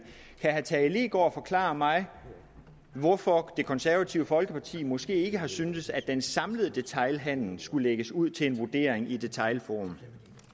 kan herre tage leegaard forklare mig hvorfor det konservative folkeparti måske ikke har syntes at den samlede detailhandel skulle lægges ud til en vurdering i detailhandelsforum